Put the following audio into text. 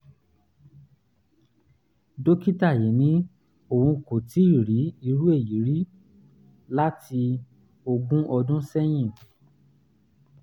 dókítà yìí ní òun kò tíì rí irú èyí rí láti ogún ọdún sẹ́yìn